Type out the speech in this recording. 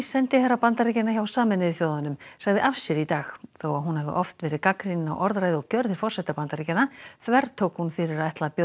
sendiherra Bandaríkjanna hjá Sameinuðu þjóðunum sagði af sér í dag þó að hún hafi oft verið gagnrýnin á orðræðu og gjörðir forseta Bandaríkjanna þvertók hún fyrir að ætla að bjóða